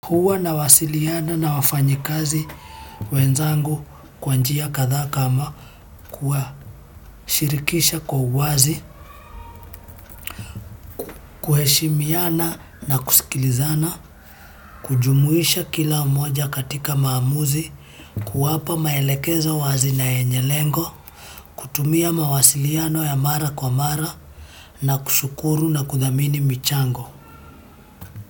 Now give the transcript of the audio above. Huwa nawasiliana na wafanyikazi wenzangu kwa njia kadhaa kama kuwa shirikisha kwa uwazi, kuheshimiana na kusikilizana, kujumuisha kila umoja katika maamuzi, kuwapa maelekezo wazi na yenye lengo, kutumia mawasiliano ya mara kwa mara na kushukuru na kudhamini michango.